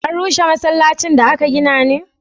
an rushe masallacin da aka gina ne?